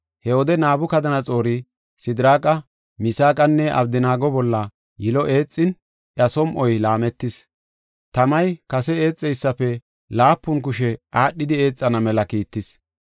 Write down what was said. He wode Nabukadanaxoori Sidiraaqa, Misaaqanne Abdanaago bolla yilo eexin, iya som7oy laametis. Tamay kase eexeysafe laapun kushe aadhidi eexana mela kiittis.